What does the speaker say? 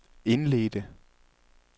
indledte